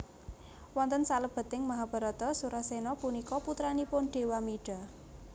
Wonten salebeting Mahabharata Surasena punika putranipun Dewamida